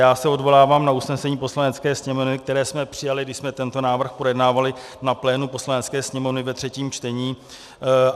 Já se odvolávám na usnesení Poslanecké sněmovny, které jsme přijali, když jsme tento návrh projednávali na plénu Poslanecké sněmovny ve třetím čtení.